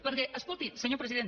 perquè escolti senyor president